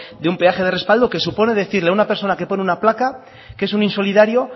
de un peaje de respaldo que supone decirle a una persona que pone una placa que es un insolidario